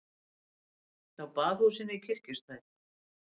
Hjá Baðhúsinu í Kirkjustræti.